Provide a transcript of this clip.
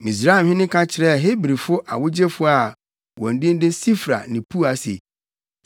Misraimhene ka kyerɛɛ Hebrifo awogyefo a wɔn din ne Sifra ne Pua se,